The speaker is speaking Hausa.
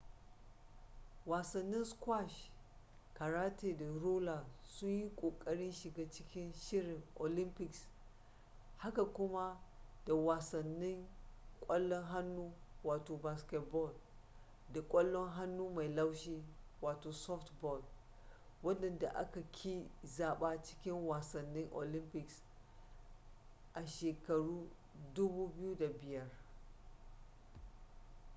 wasannin squash karate da roller sun yi kokarin shiga cikin shirin olympics haka kuma da wasannin kwallon hannu baseball da kwallon hannu mai laushi softball wadanda aka ƙi zaba cikin wasannin olympics a 2005